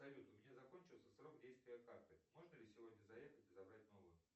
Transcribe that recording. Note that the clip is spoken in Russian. салют у меня закончился срок действия карты можно ли сегодня заехать и забрать новую